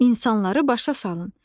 İnsanları başa salın.